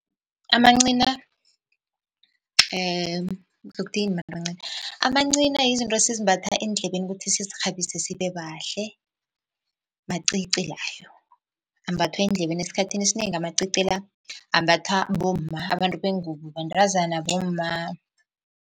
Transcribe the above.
Amancina ngizokuthi yini mara amancina. Amancina yizinto esizimbatha eendlebeni kuthi sizirhabise sibe bahle, macici layo. Ambathwa endlebeni esikhathini esinengi amacici la ambathwa bomma, abantu bengubo, bantazana bomma.